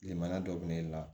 Limana dɔ bɛ ne la